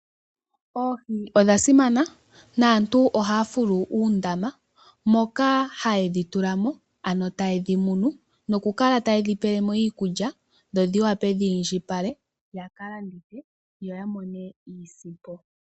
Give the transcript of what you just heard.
Oohi odha simana, naantu ohaya fulu uundama, moka hayedhi tulamo, ano tayedhi munu, nokukala tayedhi pelemo iikulya, dho dhiwape dhi indjipale, yakalandithe, yo yamone iisimpo.